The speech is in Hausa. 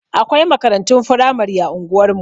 Akwai makarantun firamari a unguwar mu.